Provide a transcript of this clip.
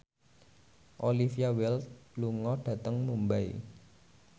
Olivia Wilde lunga dhateng Mumbai